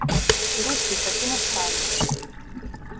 и русский как иностранный